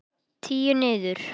Tíu niður.